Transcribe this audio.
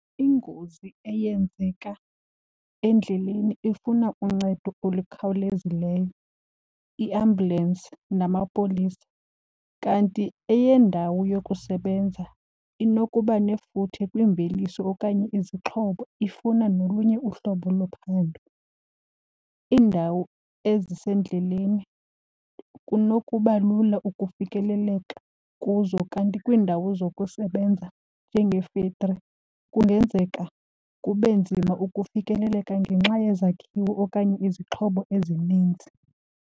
Ingozi eyenzeka endleleni ifuna uncedo olukhawulezileyo, iambulensi namapolisa. Kanti eyendawo yokusebenza inokuba nefuthe kwiimveliso okanye izixhobo ifuna nolunye uhlobo lophando. Iindawo ezisendleleni kunokuba lula ukufikeleleka kuzo kanti kwiindawo zokusebenza njengee-factory kungenzeka kube nzima ukufikeleleka ngenxa yezakhiwo okanye izixhobo ezininzi.